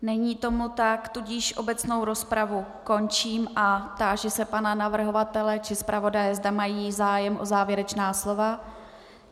Není tomu tak, tudíž obecnou rozpravu končím a táži se pana navrhovatele či zpravodaje, zda mají zájem o závěrečná slova.